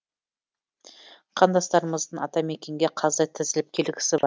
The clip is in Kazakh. қандастарымыздың атамекенге қаздай тізіліп келгісі бар